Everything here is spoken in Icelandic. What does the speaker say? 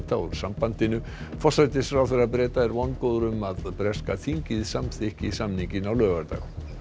úr sambandinu forsætisráðherra Breta er vongóður um að breska þingið samþykki samninginn á laugardag